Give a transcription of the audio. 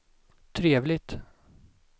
trevligt